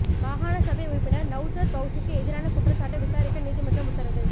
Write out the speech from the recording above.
மாகாண சபை உறுப்பினர் நௌசர் பௌசிக்கு எதிரான குற்றச்சாட்டை விசாரிக்க நீதிமன்றம் உத்தரவு